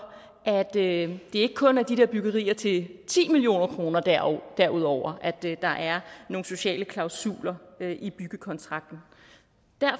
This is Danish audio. at det ikke kun er de der byggerier til ti million kroner og derudover at der er nogle sociale klausuler i byggekontrakten